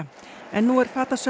en nú er